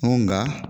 N ko nka